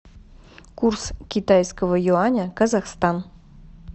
курс китайского юаня казахстан